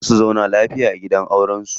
Za su zauna lafiya a gidan auren su.